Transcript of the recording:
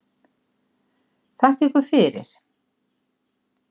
Þakka ykkur fyrir